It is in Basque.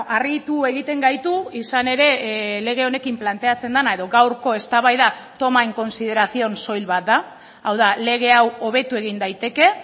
harritu egiten gaitu izan ere lege honekin planteatzen dena edo gaurko eztabaida toma en consideración soil bat da hau da lege hau hobetu egin daiteke